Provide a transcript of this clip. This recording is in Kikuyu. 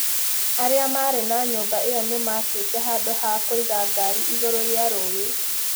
Arĩa maarĩ na nyũmba ĩyo nĩ maakĩte handũ ha kũiga ngaari igũrũ rĩa rũũĩ.